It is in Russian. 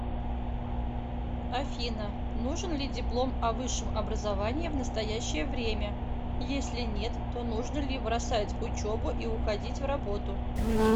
афина нужен ли диплом о высшем образовании в настоящее время если нет то нужно ли бросать учебу и уходить в работу